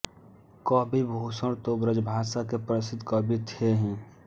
कवि भूषण तो ब्रजभाषा के प्रसिद्ध कवि थे ही